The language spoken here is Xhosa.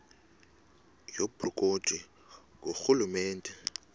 yobukro ti ngurhulumente